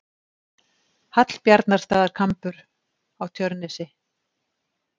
Hallbjarnarstaðakambur á Tjörnesi.